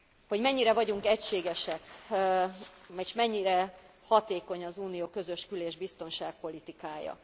Hogy mennyire vagyunk egységesek és mennyire hatékony az Unió közös kül és biztonságpolitikája?